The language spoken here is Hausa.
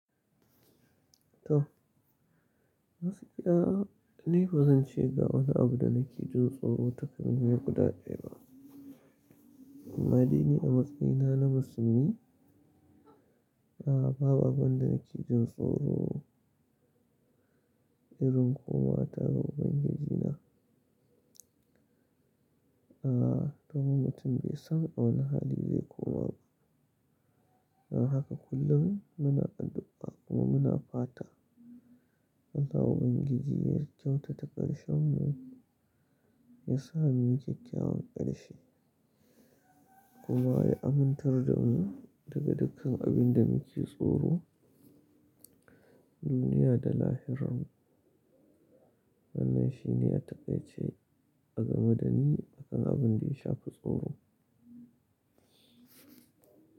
To, matsaki a, ni ba zan ce ga wani abu da nake jin tsoro ta karshen guda ɗaya ba. Amma daini a matsayina na musulmi, a ba babu abin da nake jin tsoro irin komawa tare da Ubangijina. A domin mutum bai san a wane hali zai koma ba. Don haka kullum muna addu'a kuma muna fata Allah Ubangiji yai kyauta ta ƙarshenmu, ya sa mu yi kyawawan ƙarshe kuma ya amintar da mu daga dukkan abin da muke tsoro duniya da lahiranmu. Wannan shi ne a taƙaice a game da ni akan abin da yashafi tsoro.